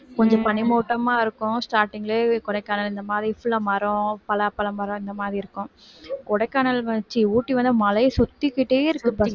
கொஞ்சம் பனிமூட்டமா இருக்கும் starting லயே கொடைக்கானல் இந்த மாதிரி full ஆ மரம், பலாப்பழ மரம் இந்த மாதிரி இருக்கும் கொடைக்கானல் வ~ சீ ஊட்டி வந்து மலையைச் சுத்திக்கிட்டே இருக்குப்பா